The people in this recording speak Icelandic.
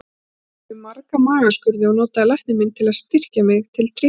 Ég fór í marga magaskurði og notaði lækni minn til að styrkja mig til drykkju.